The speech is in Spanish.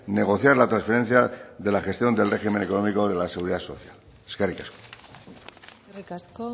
negociar la transferencia de la gestión del régimen económico de la seguridad social eskerrik asko eskerrik asko